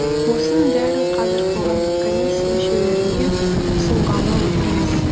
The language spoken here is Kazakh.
осының бәрін қазір қоғамдық комиссия мүшелеріне ұсынғалы отырмыз